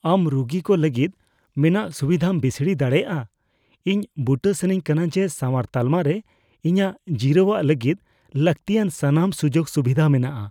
ᱟᱢ ᱨᱩᱜᱤ ᱠᱚ ᱞᱟᱹᱜᱤᱫ ᱢᱮᱱᱟᱜ ᱥᱩᱵᱤᱫᱷᱟᱢ ᱵᱤᱥᱲᱤ ᱫᱟᱲᱮᱭᱟᱜᱼᱟ ? ᱤᱧ ᱵᱩᱴᱟᱹ ᱥᱟᱱᱟᱧ ᱠᱟᱱᱟ ᱡᱮ ᱥᱟᱶᱟᱨ ᱛᱟᱞᱢᱟ ᱨᱮ ᱤᱧᱟᱹᱜ ᱡᱤᱨᱟᱹᱣᱚᱜ ᱞᱟᱹᱜᱤᱫ ᱞᱟᱹᱠᱛᱤᱭᱟᱱ ᱥᱟᱱᱟᱢ ᱥᱩᱡᱳᱜᱼᱥᱩᱵᱤᱫᱷᱟ ᱢᱮᱱᱟᱜᱼᱟ ᱾